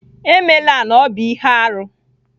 Emela na ọ bụ ihe arụ!